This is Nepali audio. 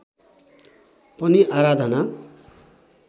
पनि आराधना